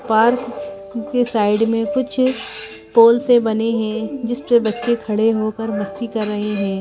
Park के side में कुछ पोल से बने हैं जिस पर बच्चे खड़े होकर मस्ती कर रहे हैं.